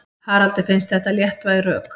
Haraldi finnst þetta léttvæg rök.